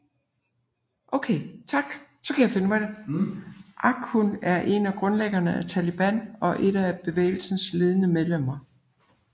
Akhund er en af grundlæggene af Taliban og er et af bevægelsens ledende medlemmer